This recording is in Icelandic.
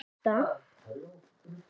Og margir nota ekki hjálm.